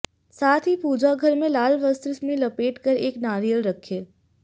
साथ ही पूजा घर में लाल वस्त्र में लपेट कर एक नारियल रखें